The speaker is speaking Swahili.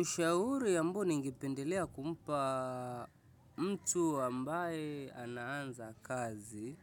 Ushauri ambao ningependelea kumpa mtu ambaye anaanza kazi